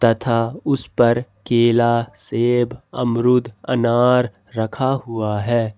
तथा उस पर केला सेब अमरूद अनार रखा हुआ है।